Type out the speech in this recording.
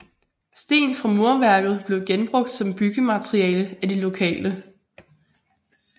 Sten fra murværket blev genbrugt som byggemateriale af de lokale